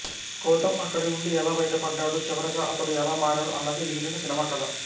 గౌతమ్ అక్కడి నుండి ఎలా బయటపడ్డాడు చివరగా అతడు ఎలా మారాడు అన్నదే మిగిలిన సినిమా కథ